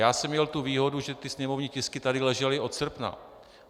Já jsem měl tu výhodu, že ty sněmovní tisky tady ležely od srpna.